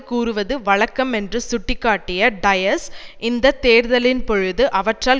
கூறுவது வழக்கம் என்று சுட்டி காட்டிய டயஸ் இந்த தேர்தலின்பொழுது அவற்றால்